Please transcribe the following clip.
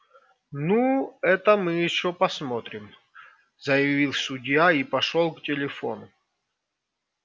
ну это мы ещё посмотрим заявил судья и пошёл к телефону